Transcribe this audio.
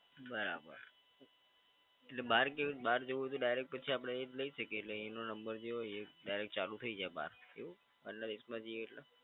બરાબર, એટલે બહાર ગયું બહાર જવું હોય તો ડાયરેક્ટ પછી આપડે એ જ લઈ શકીએ એટલે એનો નંબર જે હોય એ ડાયરેક્ટ ચાલુ થઈ જાય બહાર એવું? આટલા દેશમાં જઈએ એટલે.